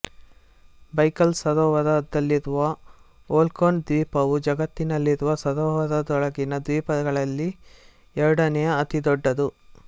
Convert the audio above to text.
Baikal ಸರೋವರದಲ್ಲಿರುವ Olkhon ದ್ವೀಪವು ಜಗತ್ತಿನಲ್ಲಿರುವ ಸರೋವರದೊಳಗಿನ ದ್ವೀಪಗಳಲ್ಲಿ ಎರಡನೆಯ ಅತಿ ದೊಡ್ಡದು